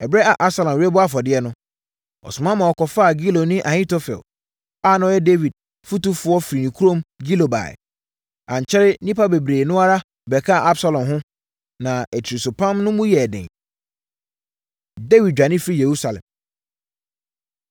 Ɛberɛ a Absalom rebɔ afɔdeɛ no, ɔsoma ma wɔkɔfaa Giloni Ahitofel a na ɔyɛ Dawid fotufoɔ firi ne kurom Gilo baeɛ. Ankyɛre nnipa bebree no ara bɛkaa Absalom ho, na atirisopam no mu yɛɛ den. Dawid Dwane Firi Yerusalem